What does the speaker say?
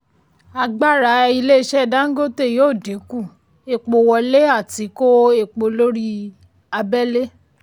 agbára ilé-iṣẹ́ dangote yóò dínkù epo wọlé àti kó epo lórí abẹ́lé.